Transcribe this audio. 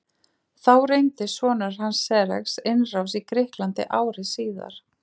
Þá reyndi sonur hans Xerxes innrás í Grikkland ári síðar.